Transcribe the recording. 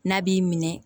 N'a b'i minɛ